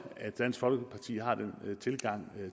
at dansk folkeparti har den tilgang